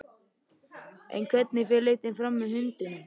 En hvernig fer leitin fram að hundunum?